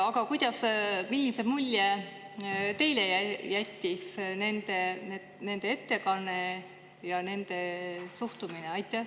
Aga millise mulje teile jättis nende ettekanne ja nende suhtumine?